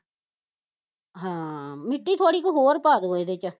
ਹਾਂ ਮਿੱਟੀ ਥੋੜੀ ਕੁ ਹੋਰ ਪਾਦੋ ਇਹਦੇ ਚ